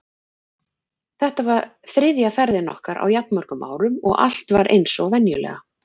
Þetta var þriðja ferðin okkar á jafn mörgum árum og allt var eins og venjulega.